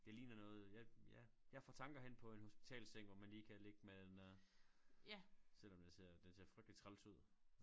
Det ligner noget jeg ja jeg får tanker hen på en hospitalsseng hvor man lige kan ligge med den der selvom den ser den ser frygtelig træls ud